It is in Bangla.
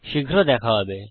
শীঘ্র দেখা হবে